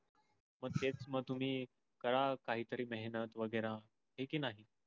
पर तेच म्हणतो मी करा कायी तरी मेहनत वगेरा है कि नाहि.